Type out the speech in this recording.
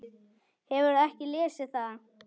Hefurðu ekki lesið það!